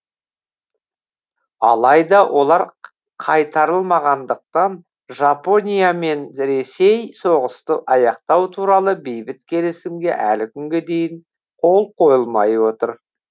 алайда олар қайтарылмағандықтан жапония мен ресей соғысты аяқтау туралы бейбіт келісімге әлі күнге дейін қол қойылмай отыр